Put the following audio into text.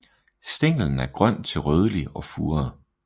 Stænglen er grøn til rødlig og furet